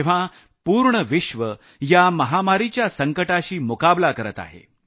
जेव्हा पूर्ण विश्व या महामारीच्या संकटाशी मुकाबला करत आहे